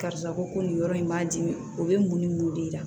Karisa ko nin yɔrɔ in b'a dimi o bɛ mun ni mun de jira